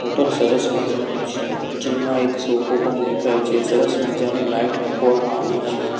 Hotel સરસ મજાનુ છે જેમા એક સોફો પણ દેખાય છે સરસ મજાની લાઇટ મૂકવામાં આવી છે.